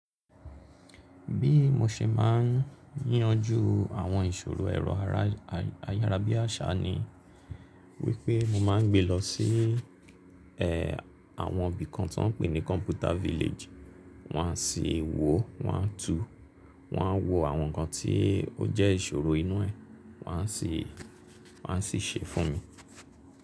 Bí mo ṣe máa ń yanjú àwọn ìṣòro ẹ̀rọ ayára bí àṣá ni wípé mo máa ń gbé lọ sí ẹ, àwọn ibi kan tó ń pè ní Computer Village, wọ́n á sì wò ó, wọ́n á tú u, wọ́n á wo àwọn nǹkan tí ó jẹ́ ìṣòro inú ẹ̀, wọ́n á sì, wọ́n á sì ṣe é fún mi.